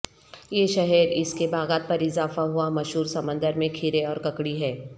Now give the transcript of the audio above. یہ شہر اس کے باغات پر اضافہ ہوا مشہور سمندر میں کھیرے اور ککڑی ہے